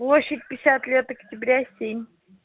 площадь пятьдесят лет октября семь